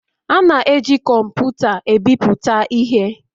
A na-eji kọmpụta ebipụta ihe